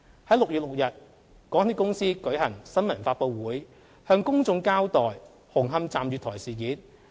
在6月6日，港鐵公司舉行新聞發布會，向公眾交代紅磡站月台事件。